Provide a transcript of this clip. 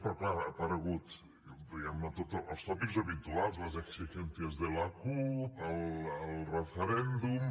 però clar han aparegut diguem ne els tòpics habituals las exigencias de la cup el referèndum